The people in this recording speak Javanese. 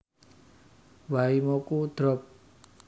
Waimoku drop